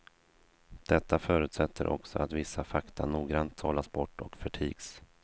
Detta förutsätter också att vissa fakta noggrant sållas bort och förtigs.